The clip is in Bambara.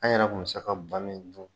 An yɛrɛ kun bɛ se ka ba min dun.